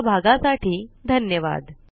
सहभागासाठी धन्यवाद